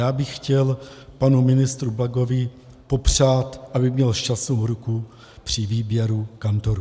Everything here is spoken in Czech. Já bych chtěl panu ministru Plagovi popřát, aby měl šťastnou ruku při výběru kantorů.